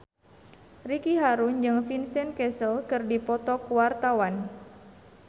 Ricky Harun jeung Vincent Cassel keur dipoto ku wartawan